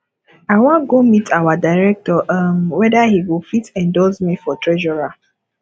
i wan go meet our director um whether he go fit endorse me for treasurer